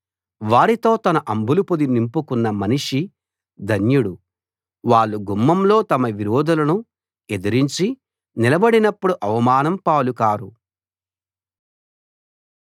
వారితో తన అంబులపొది నింపుకున్న మనిషి ధన్యుడు వాళ్ళు గుమ్మంలో తమ విరోధులను ఎదిరించి నిలబడినప్పుడు అవమానం పాలు కారు